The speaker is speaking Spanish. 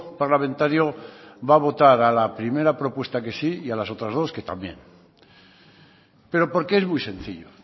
parlamentario va a votar a la primera propuesta que sí y a las otras dos que también pero porque es muy sencillo